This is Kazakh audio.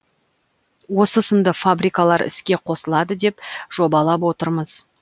осы сынды фабрикалар іске қосылады деп жобалап отырмыз